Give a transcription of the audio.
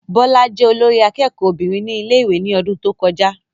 Bọ́lá jẹ́ olórí akẹ́kọ̀ọ́ obìnrin ní ilé ìwé ní ọdún tó kọjá